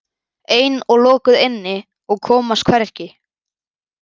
Ein og lokuð inni og komast hvergi.